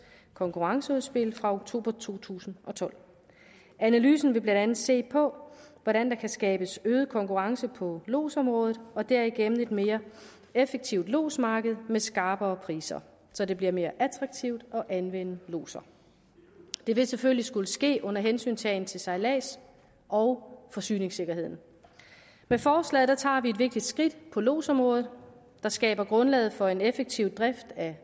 konkurrenceudspil fra oktober to tusind og tolv analysen vil blandt andet se på hvordan der kan skabes øget konkurrence på lodsområdet og derigennem et mere effektivt lodsmarked med skarpere priser så det bliver mere attraktivt at anvende lodser det vil selvfølgelig skulle ske under hensyntagen til sejlads og forsyningssikkerheden med forslaget tager vi et vigtigt skridt på lodsområdet der skaber grundlaget for en effektiv drift af